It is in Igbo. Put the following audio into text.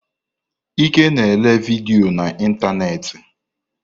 Ike na ele vidiyo na ịntanetị.